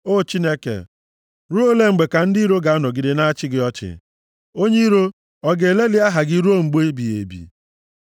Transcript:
O Chineke, ruo ole mgbe ka ndị iro ga-anọgide na-achị gị ọchị? Onye iro, ọ ga-eleli aha gị ruo mgbe ebighị ebi?